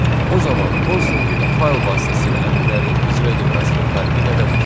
O zaman konsol ilə fayl vasitəsilə əmrlərinin icra edilməsinin fərqi nədədir?